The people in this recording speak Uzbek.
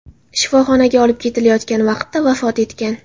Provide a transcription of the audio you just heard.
shifoxonaga olib ketilayotgan vaqtida vafot etgan.